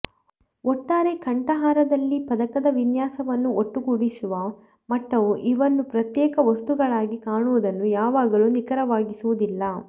ಒಟ್ಟಾರೆ ಕಂಠಹಾರದಲ್ಲಿ ಪದಕದ ವಿನ್ಯಾಸವನ್ನು ಒಟ್ಟುಗೂಡಿಸುವ ಮಟ್ಟವು ಇವನ್ನು ಪ್ರತ್ಯೇಕ ವಸ್ತುಗಳಾಗಿ ಕಾಣುವುದನ್ನು ಯಾವಾಗಲೂ ನಿಖರವಾಗಿಸುವುದಿಲ್ಲ